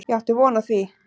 Ég átti von á því.